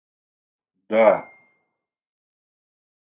да